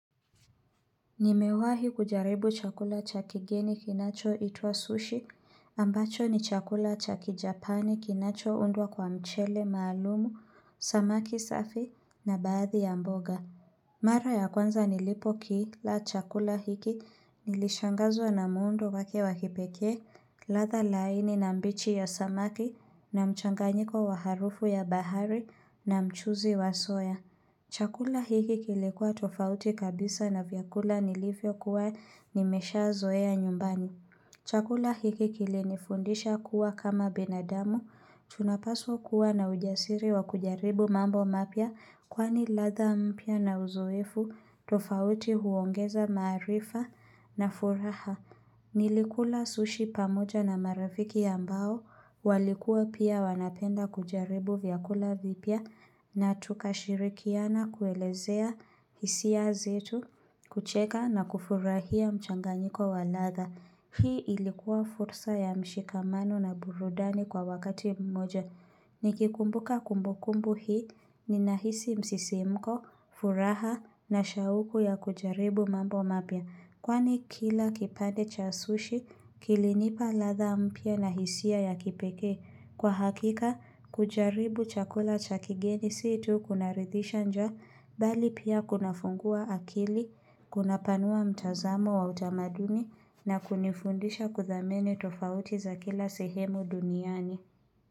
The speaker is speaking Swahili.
Nimewahi kujaribu chakula cha kigeni kinacho itwa sushi ambacho ni chakula cha kijapani kinacho undwa kwa mchele maalumu, samaki safi na baadhi ya mboga. Mara ya kwanza nilipo kila chakula hiki nilishangazwa na muundo wake wakipekee, ladha laini na mbichi ya samaki na mchanganyiko wa harufu ya bahari na mchuzi wa soya. Chakula hiki kilikuwa tofauti kabisa na vyakula nilivyo kuwa nimesha zoea nyumbani. Chakula hiki kilinifundisha kuwa kama binadamu, tunapaswa kuwa na ujasiri wa kujaribu mambo mapya kwani ladha mpya na uzoefu tofauti huongeza maaarifa na furaha. Nilikula sushi pamoja na marafiki ambao walikua pia wanapenda kujaribu vyakula vipya na tukashirikiana kuelezea hisia zetu kucheka na kufurahia mchanganyiko wa ladha. Hii ilikuwa fursa ya mshikamano na burudani kwa wakati mmoja. Nikikumbuka kumbukumbu hii ninahisi msisimko, furaha na shauku ya kujaribu mambo mapya. Kwani kila kipande cha sushi kilinipa ladha mpya na hisia ya kipekee. Kwa hakika, kujaribu chakula cha kigeni situkunaridhisha njaa mbali pia kunafungua akili, kunapanua mtazamo wa utamaduni na kunifundisha kuthamini tofauti za kila sehemu duniani.